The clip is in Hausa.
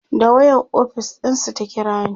da wayan ofis ɗinsu ta kirani